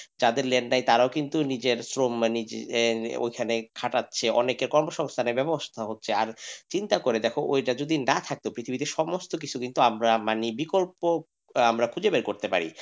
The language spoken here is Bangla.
যাদের land নাই তারাও কিন্তু নিজের শ্রম বাণিজ্যে ওইখানে খাটাচ্ছে কর্মসংস্থানের ব্যবস্থা হচ্ছে আর চিন্তা করে দেখো যদি না থাকতো পৃথিবীতে সমস্ত কিছু কিন্তু আমরা মানে বিকল্প আমরা খুঁজে বের করতে পারি,